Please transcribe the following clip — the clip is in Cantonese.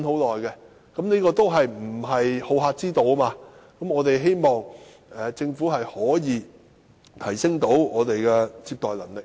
這些均非好客之道，我們希望政府可以提升接待旅客的能力。